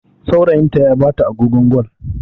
Saurayinta ya bata agogon Gwal.